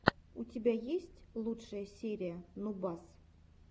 у тебя есть лучшая серия нубас